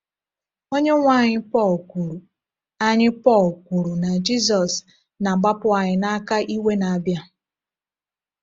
Onyenwe anyị Pọl kwuru anyị Pọl kwuru na Jizọs “na-agbapụ anyị n’aka iwe na-abịa.”